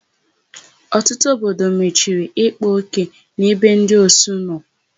Ọtụtụ obodo mechiri ịkpa ókè n'ebe ndị osu nọ.